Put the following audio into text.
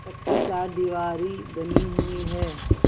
पक्की चारदीवारी बनी हुई है